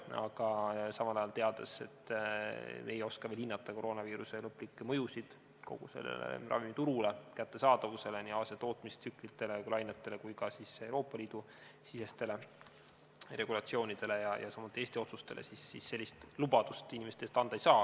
Aga samal ajal – teades, et me ei oska veel hinnata koroonaviiruse lõplikke mõjusid kogu ravimiturule, kättesaadavusele, nii Aasia tootmistsüklitele ja lainetele kui ka Euroopa Liidu regulatsioonidele, samuti Eesti otsustele – sellist lubadust inimeste ees anda ei saa.